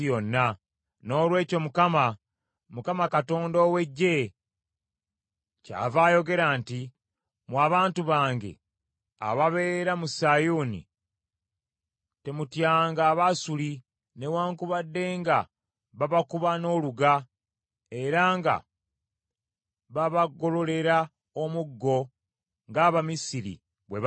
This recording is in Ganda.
Noolwekyo Mukama, Mukama Katonda ow’Eggye kyava ayogera nti, “Mmwe abantu bange ababeera mu Sayuuni, temutyanga Abasuli, newaakubadde nga babakuba n’oluga era nga babagololera omuggo nga Abamisiri bwe baakola.